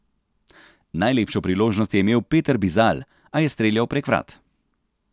Najlepšo priložnost je imel Peter Bizalj, a je streljal prek vrat.